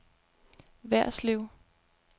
Værslev